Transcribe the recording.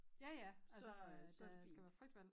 Ja ja så øh der skal være frit valg